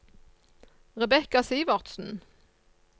Rebecca Sivertsen